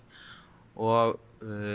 og